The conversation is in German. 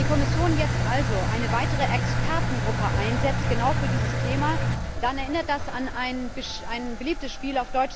Wenn die Kommission jetzt also eine weitere Expertengruppe einsetzt, genau für dieses Thema, dann erinnert das an ein beliebtes Spiel.